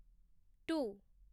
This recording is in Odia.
ଟୁ